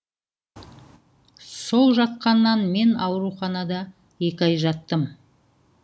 сол жатқаннан мен ауруханада екі ай жаттым